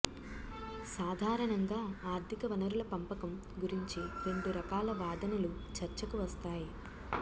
సాధారణంగా ఆర్థిక వనరుల పంపకం గురించి రెండు రకాల వాదనలు చర్చకు వస్తాయి